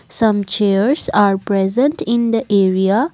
some chairs are present in the area.